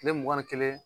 Kile mugan ni kelen